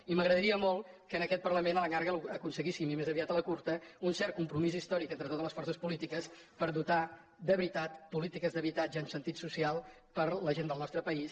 i m’agradaria molt que en aquest parlament a la llarga aconseguíssim i més aviat a la curta un cert compromís històric entre totes les forces polítiques per dotar de veritat polítiques d’habitatge amb sentit social per a la gent del nostre país